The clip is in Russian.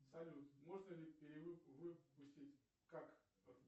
салют можно ли перевыпустить